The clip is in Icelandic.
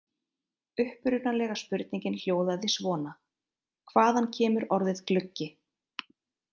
Upprunalega spurningin hljóðaði svona: Hvaðan kemur orðið gluggi?